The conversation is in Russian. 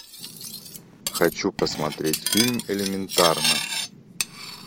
хочу посмотреть фильм элементарно